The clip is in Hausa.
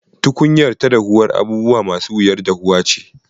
Tukunyarta ta dahuwar abubuwa ma su wuyar dahuwa ce.